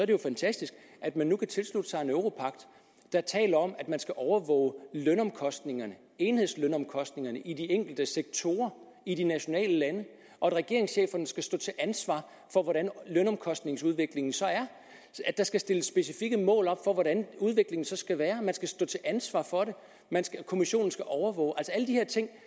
jo fantastisk at man nu kan tilslutte sig en europagt der taler om at man skal overvåge lønomkostningerne enhedslønomkostningerne i de enkelte sektorer i de nationale lande og at regeringscheferne skal stå til ansvar for hvordan lønomkostningsudviklingen så er der skal stilles specifikke mål op for hvordan udviklingen skal være og man skal stå til ansvar for det kommissionen skal overvåge alle de her ting